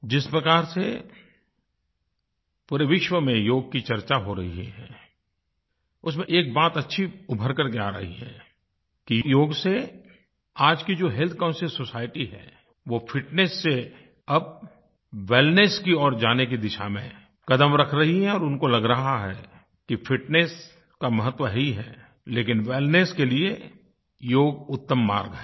जिस प्रकार से पूरे विश्व में योग की चर्चा हो रही है उसमें एक बात अच्छी उभर कर के आ रही है कि योग से आज की जो हेल्थ कॉन्शियस सोसाइटी है वो फिटनेस से अब वेलनेस की ओर जाने की दिशा में क़दम रख रही है और उनको लग रहा है कि फिटनेस का महत्व है ही है लेकिन वेलनेस के लिए योग उत्तम मार्ग है